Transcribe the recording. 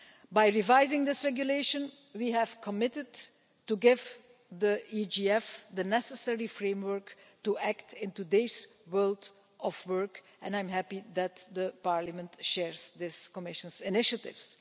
By revising this Regulation we have committed to giving the EGF the necessary framework to act in today's world of work and I am happy that Parliament shares this Commission's initiatives.